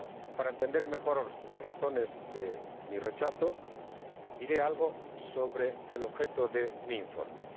Para entender mejor las razones de mi rechazo, diré algo sobre el objeto de mi informe.